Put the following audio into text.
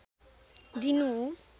दिनु हो